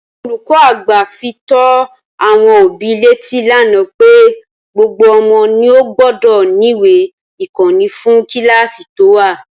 Olùkó àgbà fi tó àwon òbí létí lánàá pé gbogbo omo ni ó gbódò níwèé ìkóni fún kíláàsï tó wà